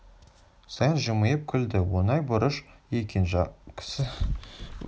саян жымиып күлді оңай борыш екен жақсы қолдан келгенін аямаспын қашан жүрейін бүгін сақтықта қорлық жоқ